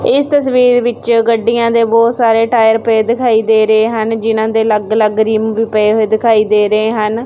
ਇਸ ਤਸਵੀਰ ਵਿੱਚ ਗੱਡੀਆਂ ਦੇ ਬੋਹੁਤ ਸਾਰੇ ਟਾਇਰ ਪਏ ਦਿਖਾਈ ਦੇ ਰਹੇ ਹਨ ਜਿਹਨਾਂ ਦੇ ਅਲੱਗ ਅਲੱਗ ਰਿੰਮ ਵੀ ਪਏ ਹੋਏ ਦਿਖਾਈ ਦੇ ਰਹੇ ਹਨ।